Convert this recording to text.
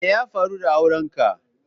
Me ya faru da auren ka?